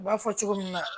U b'a fɔ cogo min na